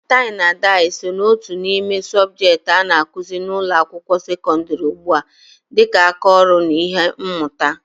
Tai na dai so ná otu n'ime subjekti a ga-akụzi n'ụlọ akwụkwọ sekondri ugbua dịka aka ọrụ na ihe mmuta